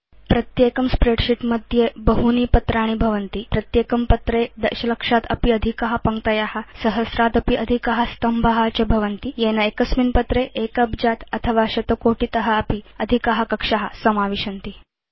प्रत्येकं स्प्रेडशीट् मध्ये बहूनि पत्राणि भवितुम् अर्हन्ति तथा च प्रत्येकं पत्रे दशलक्षादपि अधिका पङ्क्तय सहस्रादपि अधिका स्तम्भा च भवितुम् अर्हन्ति येन एकस्मिन् पत्रे एक अब्जात् अथवा शतकोटित अपि अधिका कक्षा समाविशन्ति